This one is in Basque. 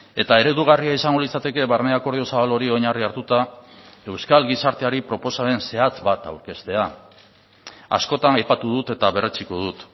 eta eredugarria izango litzateke barne akordio zabal hori oinarri hartuta euskal gizarteari proposamen zehatz bat aurkeztea askotan aipatu dut eta berretsiko dut